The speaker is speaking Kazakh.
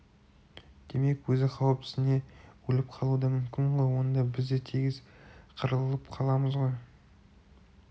демек өзі қауіптенсе өліп қалуы да мүмкін ғой онда біз де тегіс қырылып қаламыз ғой